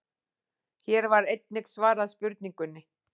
Hér var einnig svarað spurningunni: